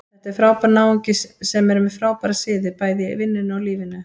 Þetta er frábær náungi sem er með frábæra siði, bæði í vinnunni og lífinu.